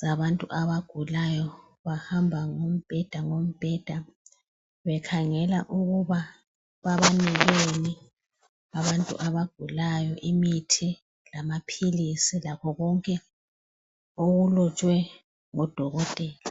zabantu abangulayo bahamba ngombheda ngombheda bekhangela ukuba babanikeni abantu abagulayo imithi, lamaphilisi konke okulotshwe ngodokotela.